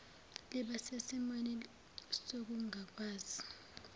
liba sesimweni sokungakwazi